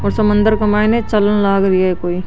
और समुन्दर के माइन चालन लाग रही है कोई।